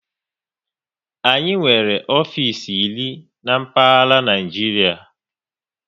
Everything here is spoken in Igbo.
Anyị nwere ofisi iri n'mkpaghara Naijiria